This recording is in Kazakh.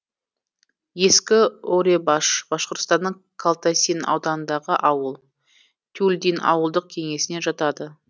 ескі орьебаш башқұртстанның калтасин ауданындағы ауыл тюльдин ауылдық кеңесіне жатады